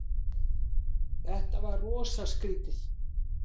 Þetta var rosa skrýtið.